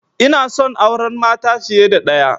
Inason auran mata fiya da ɗaya